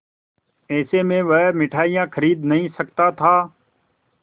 ऐसे में वह मिठाई खरीद नहीं सकता था